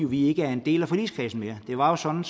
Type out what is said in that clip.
vi er ikke en del af forligskredsen mere det var jo sådan